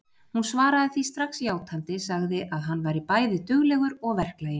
Hún svaraði því strax játandi, sagði að hann væri bæði duglegur og verklaginn.